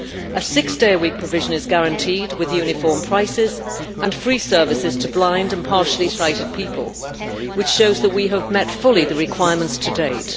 A six day a week provision is guaranteed with uniform prices and free services to blind and partially sighted people, which shows that we have fully met the requirements to date.